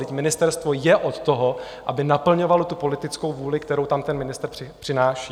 Vždyť ministerstvo je od toho, aby naplňovalo tu politickou vůli, kterou tam ten ministr přináší.